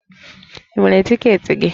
Ị nwere tiketi gị?